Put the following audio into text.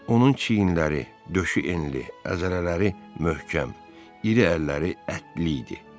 Onun çiyinləri, döşü enli, əzələləri möhkəm, iri əlləri ətli idi.